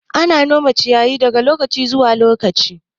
Ana yin nome ciyayi daga lokaci zuwa lokaci.